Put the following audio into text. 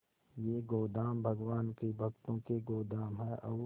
ये गोदाम भगवान के भक्तों के गोदाम है और